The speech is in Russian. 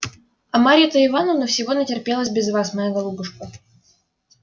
а марья то ивановна всего натерпелась без вас моя голубушка